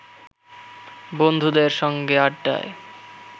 বন্ধুদের সঙ্গে আড্ডায়